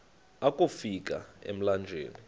akofi ka emlanjeni